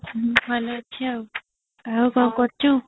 ମୁଁ ଭଲ ଅଛି ଆଉ କଣ କରୁଛୁ